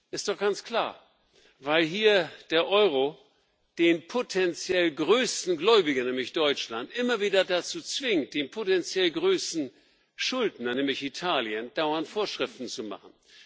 Ist doch ganz klar Weil hier der Euro den potenziell größten Gläubiger nämlich Deutschland immer wieder dazu zwingt, dem potenziell größten Schuldner nämlich Italien dauernd Vorschriften zu machen.